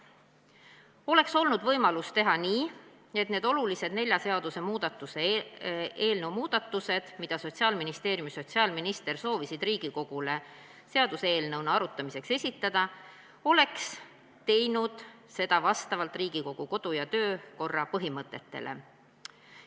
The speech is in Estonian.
Oleks olnud võimalus teha nii, et neid olulisi nelja seaduse muudatusi, mida Sotsiaalministeerium ja sotsiaalminister soovisid Riigikogule seaduseelnõuna arutamiseks esitada, oleks arutatud vastavalt Riigikogu kodu- ja töökorra põhimõtetele.